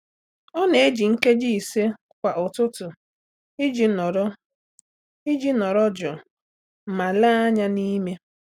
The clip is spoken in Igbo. Ọ́ nà-èji nkeji ise kwa ụ́tụ́tụ́ iji nọ́rọ́ iji nọ́rọ́ jụụ ma léé ányá n’ímé.